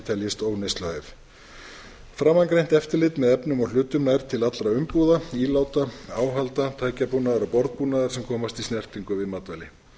teljist óneysluhæf framangreint eftirlit með efnum og hlutum nær til allra umbúða íláta áhalda tækjabúnaðar og borðbúnaðar sem komast í snertingu við matvæli